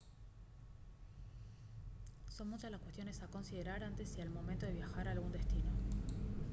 son muchas las cuestiones a considerar antes y al momento de viajar a algún destino